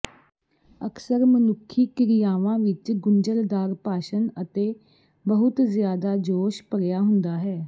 ਅਕਸਰ ਮਨੁੱਖੀ ਕ੍ਰਿਆਵਾਂ ਵਿਚ ਗੁੰਝਲਦਾਰ ਭਾਸ਼ਣ ਅਤੇ ਬਹੁਤ ਜ਼ਿਆਦਾ ਜੋਸ਼ ਭਰਿਆ ਹੁੰਦਾ ਹੈ